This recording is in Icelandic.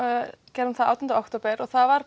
gerðum það átján október og það var